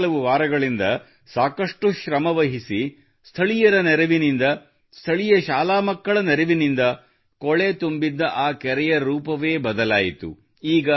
ಕಳೆದ ಕೆಲವು ವಾರಗಳಿಂದ ಸಾಕಷ್ಟು ಶ್ರಮವಹಿಸಿ ಸ್ಥಳೀಯರ ನೆರವಿನಿಂದ ಸ್ಥಳೀಯ ಶಾಲಾ ಮಕ್ಕಳ ನೆರವಿನಿಂದ ಕೊಳೆ ತುಂಬಿದ್ದ ಆ ಕೆರೆಯ ರೂಪವೇ ಬದಲಾಯಿತು